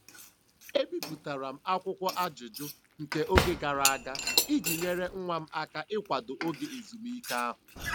E bipụtara m akwụkwọ ajụjụ nke oge gara aga iji nyere nwa m aka n'ịkwado oge ezumike ahụ.